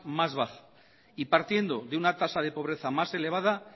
más baja y partiendo de una tasa de pobreza más elevada